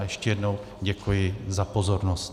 A ještě jednou děkuji za pozornost.